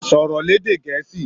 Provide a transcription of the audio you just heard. Sọ̀rọ̀ lédè Gẹ̀ẹ́sì!